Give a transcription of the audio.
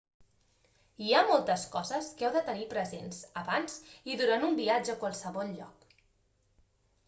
hi ha moltes coses que heu de tenir presents abans i durant un viatge a qualsevol lloc